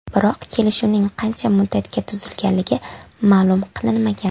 Biroq kelishuvning qancha muddatga tuzilganligi ma’lum qilinmagan.